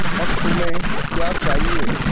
अब तुम्हें क्या चाहिए